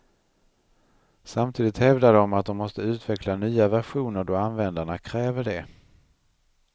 Samtidigt hävdar de att de måste utveckla nya versioner då användarna kräver det.